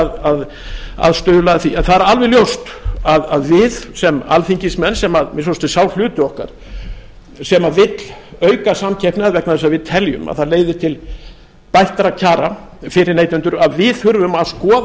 að stuðla að því en það er alveg ljóst að við sem alþingismenn sem að minnsta kosti sá hluti okkar sem vill auka samkeppni vegna þess að við teljum að það leiði til bættra kjara fyrir neytendur að við þurfum að skoða